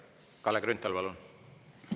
Kalle Grünthal, palun!